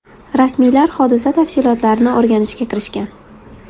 Rasmiylar hodisa tafsilotlarini o‘rganishga kirishgan.